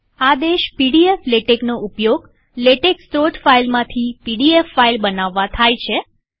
આદેશ પીડીએફ latexનો ઉપયોગ લેટેક સ્ત્રોત ફાઈલમાંથી પીડીએફ ફાઈલ બનાવવા થાય છે